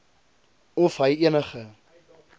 of hy enige